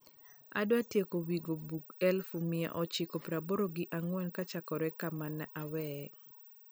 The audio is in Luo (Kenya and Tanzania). adwa tieko wingo bug eluf mia ochiko praaboro gi angwen kochakre kama ne aweye